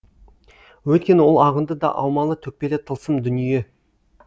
өйткені ол ағынды да аумалы төкпелі тылсым дүние